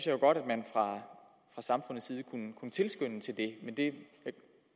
jo godt at man fra samfundets side kunne tilskynde til det men det